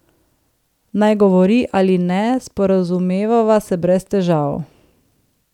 Naj govori ali ne, sporazumevava se brez težav.